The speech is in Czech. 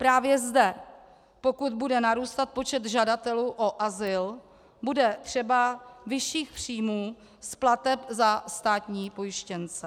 Právě zde, pokud bude narůstat počet žadatelů o azyl, bude třeba vyšších příjmů z plateb za státní pojištěnce.